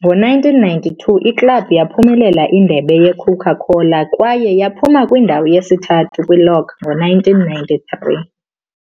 ngo-1992 iklabhu yaphumelela indebe yeCoca-Cola kwaye yaphuma kwindawo yesithathu kulog ngo-1993.